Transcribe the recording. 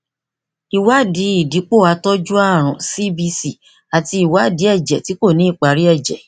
ìwádìí ìdìpò àtọjú àrùn cbc àti ìwádìí èjè tí kò ní ìparí èjè